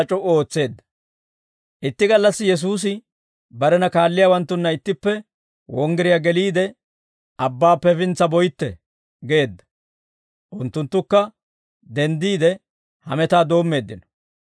Itti gallassi Yesuusi barena kaalliyaawanttunna ittippe wonggiriyaa geliide, «Abbaappe hefintsa boytte» geedda. Unttunttukka denddiide hametaa doommeeddino.